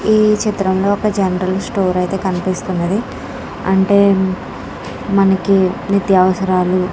ఈ చిత్రంలో ఒక జనరల్ స్టోర్ అయితే కనిపిస్తుంది. అంటే మనకి నిత్య అవసరాలు --